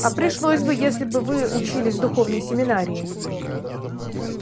а пришлось бы если бы вы учились в духовной семинарии